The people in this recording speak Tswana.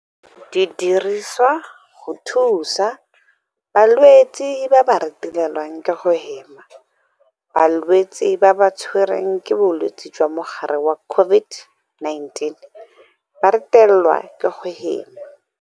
Di dirisiwa go thusa balwetse ba ba retelelwang ke go hema. Balwetse ba ba tshwe rweng ke bolwetse jwa mogare wa COVID-19 ba retelelwa ke go hema.